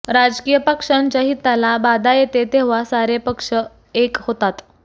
राजकीय पक्षांच्या हिताला बाधा येते तेव्हा सारे पक्ष एक होतात